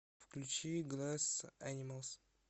включи гласс энималс